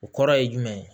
O kɔrɔ ye jumɛn ye